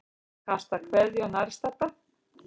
Kastar kveðju á nærstadda.